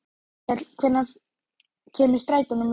Hólmkell, hvenær kemur strætó númer fjörutíu og fjögur?